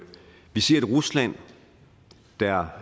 vi ser et rusland der